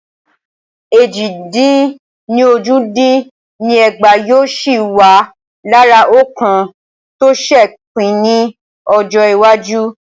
Éjì dín ní ójì dín ní ẹgbàá yóò sì wà lára òǹkà tó ṣe pín ni Ọjọ́ iwájú.